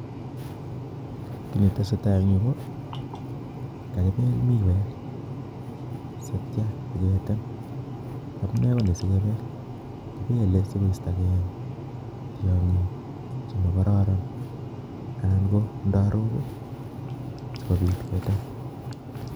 Netesetai eng' yu ko kagibel miwek siatcho sigetem. Amune koni sigebel, kibele sigoistokei tiong'ik chemokororon anan ko ndarok sigobit ketem.